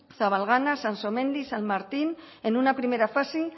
zabalgana sansomendi san martín en una primera fase